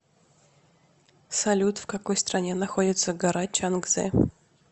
салют в какой стране находится гора чангзе